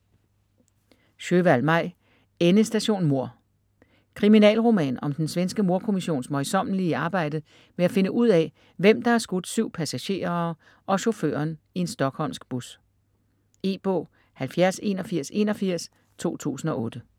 Sjöwall, Maj: Endestation mord Kriminalroman om den svenske mordkommissions møjsommelige arbejde med at finde ud af, hvem der har skudt 7 passagerer og chaufføren i en stockholmsk bus. E-bog 708181 2008.